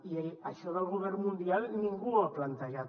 i això del govern mundial ningú ho ha plantejat